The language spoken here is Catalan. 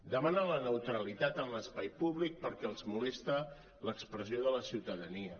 demanen la neutralitat en l’espai públic perquè els molesta l’expressió de la ciutadania